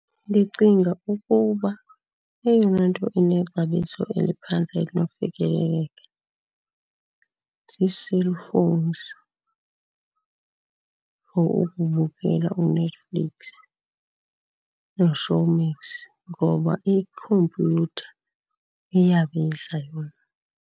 Ndicinga ukuba eyona nto inexabiso eliphantsi elinokufikeleleka zii-cell phones for ukubukela uNetflix noShowmax. Ngoba ikhompyutha iyabiza yona.